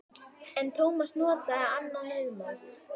En Tómas notaði annað viðmót.